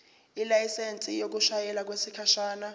ilayisensi yokushayela okwesikhashana